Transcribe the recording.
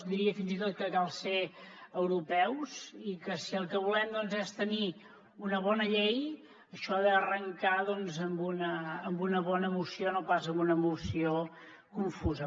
diria fins i tot que cal ser europeus i que si el que volem doncs és tenir una bona llei això ha d’arrancar amb una bona moció no pas amb una moció confusa